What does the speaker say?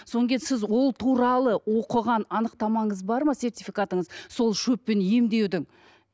содан кейін сіз ол туралы оқыған анықтамаңыз бар ма сертификатыңыз сол шөппен емдеудің